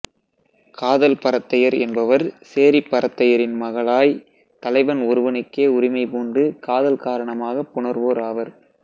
காதல் பரத்தையர் என்பவர் சேரிப்பரத்தையின் மகளாய்த் தலைவன் ஒருவனுக்கே உரிமைபூண்டு காதல் காரணமாகப் புணர்வோர் ஆவர்